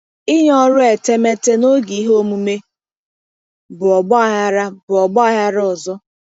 Ịnye ọrụ etemeete n'oge ihe omume bụ ọgba aghara bụ ọgba aghara ọzọ.